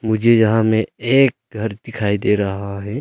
मुझे यहां में एक घर दिखाई दे रहा है।